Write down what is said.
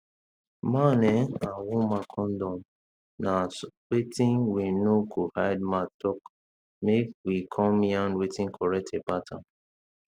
man ehnn and woman condom na wetin we no go hide mouth talk make we come yarn wetin correct about am